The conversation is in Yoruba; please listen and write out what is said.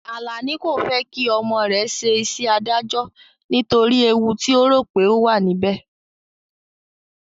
Alani kò fẹ́ kí ọmọ rẹ̀ ṣe iṣẹ́ adájọ́ nítorí ewu ti ó rò pé ó wà níbẹ̀